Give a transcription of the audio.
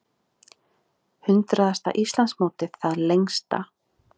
Hundraðasta Íslandsmótið það lengsta